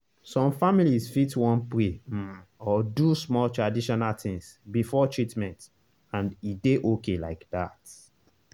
some families fit wan pray um or do small traditional things before treatment — and e dey okay like that.